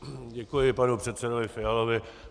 Děkuji panu předsedovi Fialovi.